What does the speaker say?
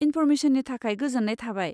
इनफ'रमेसननि थाखाय गोजोन्नाय थाबाय।